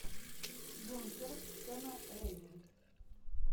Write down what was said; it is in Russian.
бункер сэма рэйми